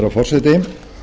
herra forseti